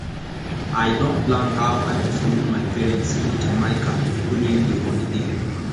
i don plan how i go follow my parents go jamaica during the holiday